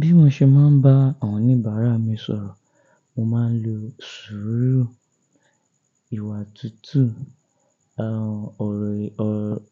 Bí mo ṣe máa ń bá àwọn oníbàárà mi sọ̀rọ̀, mo máa ń lo sùúrù, ìwà tútù,